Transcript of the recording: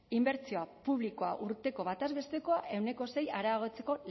inbertsio publikoa urteko batez bestekoa ehuneko sei areagotzeko